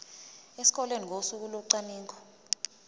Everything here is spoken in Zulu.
esikoleni ngosuku locwaningo